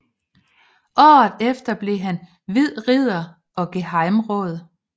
Året efter blev han hvid ridder og gehejmeråd